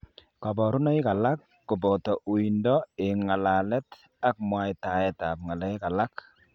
Kaborunoik alak koboto uindo eng' ng'alalet ak mwaitaetab ng'alek alak